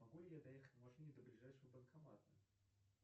могу ли я доехать на машине до ближайшего банкомата